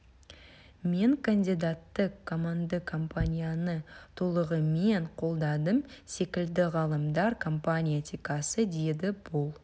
мен кандидатты команданы компанияны толығымен қолдадым секілді ғалымдар компания этикасы деді бұл